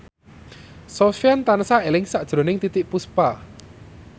Sofyan tansah eling sakjroning Titiek Puspa